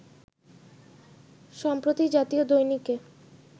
সম্প্রতি জাতীয় দৈনিকে